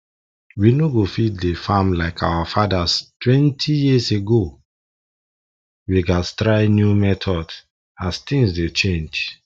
we no go fit dey farm like our fatherstwentyyears ago we gats try new methods as things dey change